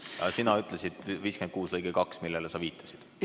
Aga sina ütlesid § 56 lõige 2, sa viitasid sellele.